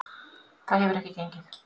Það hefur ekki gengið.